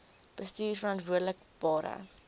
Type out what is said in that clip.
bestuurverantwoordbare